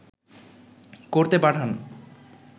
করতে পাঠান